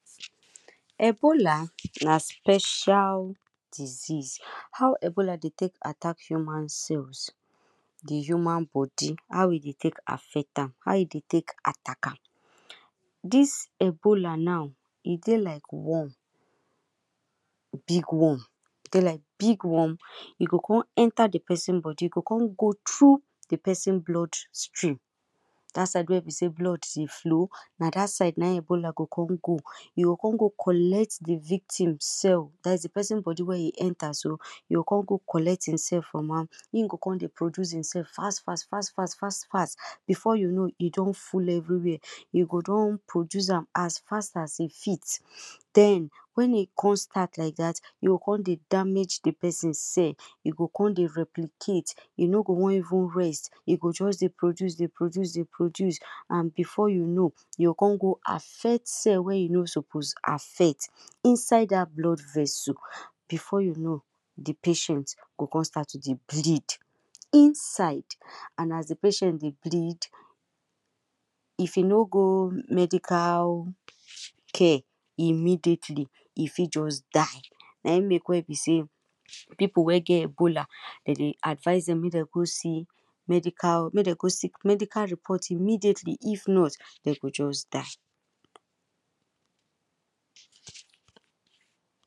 Ebola na special disease, how ebola dey take attack cells, the human body, how e dey take affect am, how e dey take attack am, this ebola now e dey like worm, big worm,e dey like big worm, e go come enter the person body, e go come go through the blood stream that side wey be say blood dey flow, na dat side ebola go come go, e go come go collect the victim cell, that is the person body wey him enter so, e co come go collect himself from am, im go con dey produce himself fas fas, fas fas, fas fas before you know, he go don full everywhere, im go don produce am as fast as im fit, then when im con start like that, e go con dey damage the person cell, e go con dey replicate, e no go wan even rest, e go just dey produce, dey produce, dey produce, and before you know, e go con go affect cell wey e no suppose affect inside that blood vessel, before you know, e go con start to dey bleed inside and as the patient dey bleed if e no go medical care immediately, if fi just die, na e make wey be say people wey get ebola then dey advice them say make them go see medical, make them go see medical report immediately if not, dey for just die